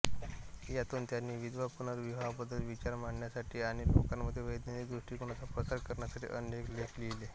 यातून त्यांनी विधवा पुनर्विवाहाबद्दल विचार मांडण्यासाठी आणि लोकांमध्ये वैज्ञानिक दृष्टिकोनाचा प्रसार करण्यासाठी अनेक लेख लिहिले